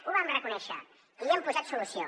ho vam reconèixer i hi hem posat solució